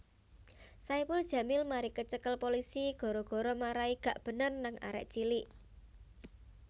Saipul Jamil mari kecekel polisi gara gara marai gak bener nang arek cilik